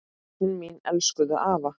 Börnin mín elskuðu afa.